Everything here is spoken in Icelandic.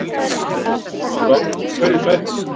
Að lokum spurðum við Ásmund hverju sætti?